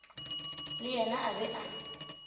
le yena a be a